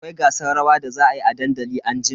Akwai gasar rawa da za a yi a dandali anjima.